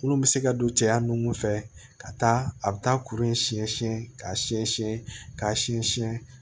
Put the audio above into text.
Minnu bɛ se ka don cɛya nun fɛ ka taa a bɛ taa kuru in siɲɛ siɲɛ ka siɲɛsin k'a siɲɛ siɲɛ